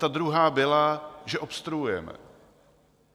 Ta druhá byla, že obstruujeme.